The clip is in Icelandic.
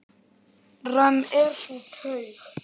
Römm er sú taug.